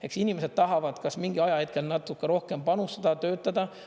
Eks inimesed tahavad kas mingi ajahetkel natuke rohkem panustada, töötada.